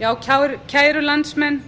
já kæru landsmenn